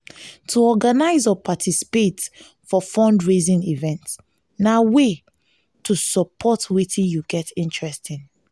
to organize or participate for fundraising event na event na way to support wetin you get interest in